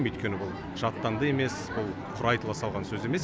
өйткені бұл жаттанды емес ол құр айтыла салған сөз емес